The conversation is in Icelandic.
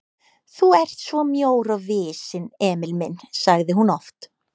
Þú ert svo mjór og visinn, Emil minn sagði hún oft.